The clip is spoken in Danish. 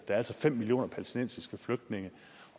er altså fem millioner palæstinensiske flygtninge